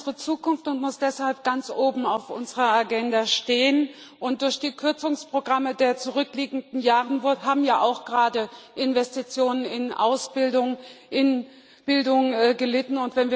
Bildung ist unsere Zukunft und muss deshalb ganz oben auf unserer Agenda stehen, und durch die Kürzungsprogramme der zurückliegenden Jahre haben gerade auch Investitionen in Ausbildung, in Bildung gelitten.